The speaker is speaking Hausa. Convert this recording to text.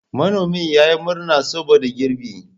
Manomin ya yi murna saboda girbi.